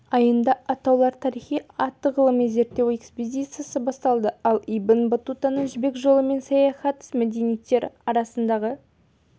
айында атаулар тарихы атты ғылыми-зерттеу экспедициясы басталды ал ибн баттутаның жібек жолымен саяхаты мәдениеттер арасындпағы